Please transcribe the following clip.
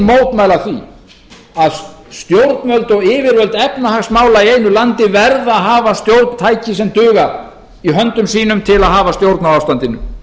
mótmæla því að stjórnvöld og yfirvöld efnahagsmála í einu landi verða að hafa stjórntæki sem dugar í höndum sínum til að hafa stjórn á ástandinu